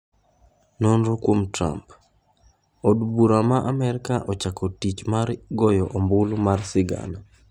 Nonro kuom Trump: od bura ma amerka ochako tich mar goyo ombulu mar sigana